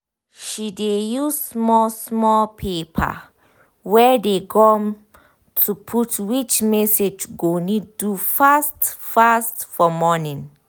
she dey use small small paper wey dey gum to put which message go need do fast fast for morning